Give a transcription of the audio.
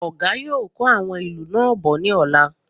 Ọ̀gá yóò kó àwọn ilú náà bọ̀ ní ọ̀la